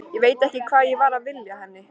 Ég veit ekki hvað ég var að vilja henni.